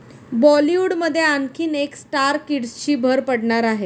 बॉलिवूडमध्ये आणखीन एका स्टार किड्सची भर पडणार आहे.